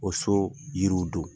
O so yiriw don.